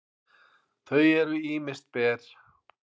þau eru ýmist ber